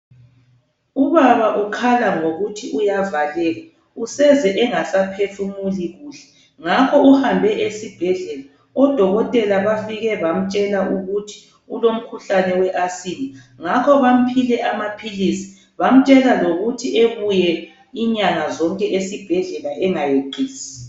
Ubaba ukhala ngokuthi uyavaleka, useze engasaphefumuli kuhle ngakho uhambe esibhedlela. Odokotela bafike bamtshela ukuthi ulomkhuhlane we"Asthma" ngakho bamphile amaphilisi bamtshela lokuthi ebuye inyanga zonke esibhedlela engayeqisi.